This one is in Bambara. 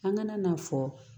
An kana n'a fɔ